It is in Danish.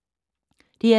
DR2